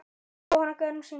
Jóhanna Guðrún syngur.